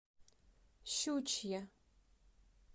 щучье